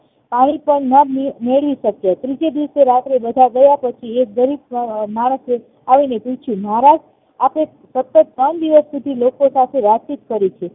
પાણી પણ ના મેળવી શક્યા ત્રીજે દિવસે રાત્રે બધા ગયા પછી એક ગરીબ માણસે આવીને પૂછ્યું મહારાજ આપે ત્રણ દિવસથી સતત લોકો સાથે વાતચીત કરી છે